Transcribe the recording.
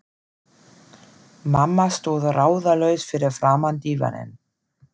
Mamma stóð ráðalaus fyrir framan dívaninn.